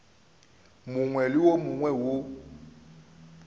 mongwe le wo mongwe wo